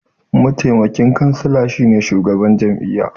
Mataimaki kansila shine shugaban jami'a.